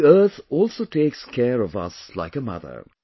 The Earth also takes care of us like a mother